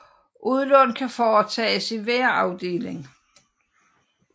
Udlån kan foretages i hver afdeling